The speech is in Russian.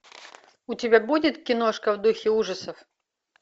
у тебя будет киношка в духе ужасов